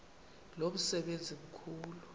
lo msebenzi mkhulu